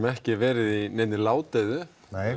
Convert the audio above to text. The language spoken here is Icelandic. ekki verið í neinni ládeyðu